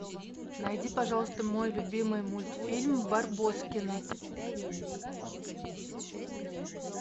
найди пожалуйста мой любимый мультфильм барбоскины